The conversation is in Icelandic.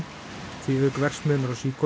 því auk verksmiðjunnar á